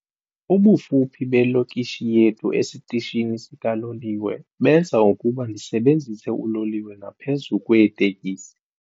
Ubufuphi belokishi yethu esitishini sikaloliwe benza ukuba ndisebenzise uloliwe ngaphezu kweetekisi.